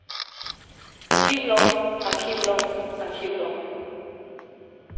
arkivloven arkivloven arkivloven